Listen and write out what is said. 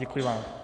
Děkuji vám.